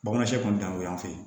Bamanan sɛ kun t'anw y'an fɛ yen